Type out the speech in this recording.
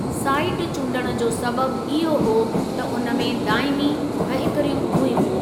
Site चूंडणु जो सबबि इहो हो त उन में दाइमी वहिकरियूं हुयूं।